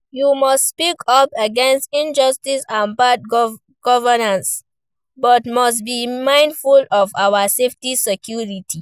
We must speak up against injustice and bad governance, but must be mindful of our safety security.